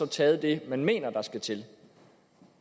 taget det man mener der skal til